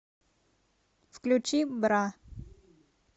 включи бра